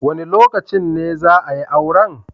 Wa ne lokacin ne za a yi auren?